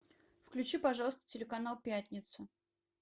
включи пожалуйста телеканал пятница